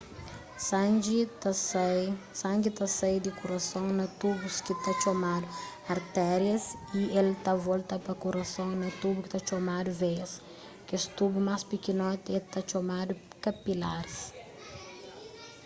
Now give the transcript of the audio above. sangi ta sai di kurason na tubus ki ta txomadu artérias y el ta volta pa kurason na tubu ki ta txomadu veias kes tubu más pikinoti é ta txomadu kapilaris